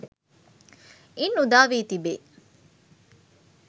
ඉන් උදා වී තිබේ.